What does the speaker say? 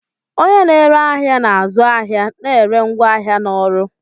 Onye na-ere ahịa na-azụ ahịa na ere ngwaahịa na ọrụ